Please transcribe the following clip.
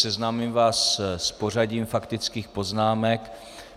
Seznámím vás s pořadím faktických poznámek.